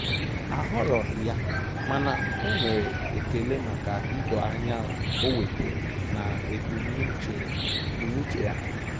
Ahọrọghị ya, mana o nwere ekele maka idoanya o wetara na ebumnuche ebumnuche ya